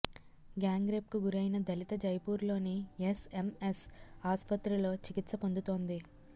gang రేప్కు గురైన దళిత జైపూర్లోని ఎస్ఎంఎస్ ఆసుపత్రిలో చికిత్స పొందుతోంది